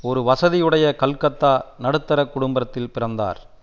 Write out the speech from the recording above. ஒரு வசதியுடைய கல்கத்தா நடுத்தர குடும்பத்தில் பிறந்தார்